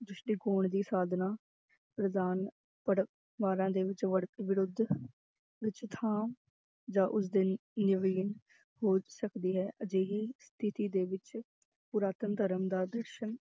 ਦ੍ਰਿਸ਼ਟੀਕੋਣ ਦੀ ਸਾਧਨਾ ਪ੍ਰਦਾਨ ਪਰਿਵਾਰਾਂ ਦੇ ਵਿੱਚ ਵਰ~ ਵਿਰੁੱਧ ਵਿੱਚ ਥਾਂ ਜਾਂ ਉਸਦੇ ਹੋ ਸਕਦੀ ਹੈ ਅਜਿਹੀ ਸਥਿਤੀ ਦੇ ਵਿੱਚ ਪੁਰਾਤਨ ਧਰਮ ਦਾ ਦ੍ਰਿਸ਼